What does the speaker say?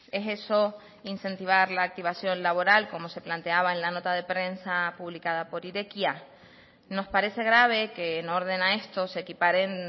es eso incentivar la activación laboral como se planteaba en la nota de prensa publicada por irekia nos parece grave que en orden a esto se equiparen